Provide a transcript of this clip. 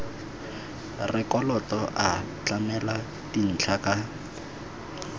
rekoto a tlamela dintlha ka